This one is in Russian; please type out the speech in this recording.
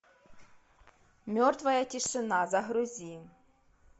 мертвая тишина загрузи